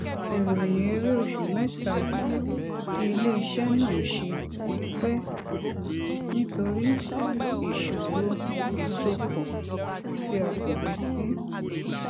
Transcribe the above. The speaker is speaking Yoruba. ìròyìn èrè oṣù mẹta tí iléiṣẹ náà ṣe ti pẹ nítorí ìṣòro ìsopọ tí a kò retí